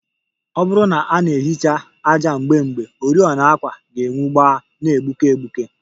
Ọ bụrụ na a na-ehicha ájá mgbe mgbe, oriọna àkwà ga-enwu gbaa na-egbuke egbuke